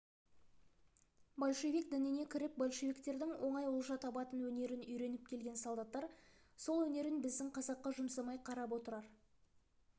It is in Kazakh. большевик дініне кіріп большевиктердің оңай олжа табатын өнерін үйреніп келген солдаттар сол өнерін біздің қазаққа жұмсамай қарап отырар